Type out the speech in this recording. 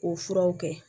K'o furaw kɛ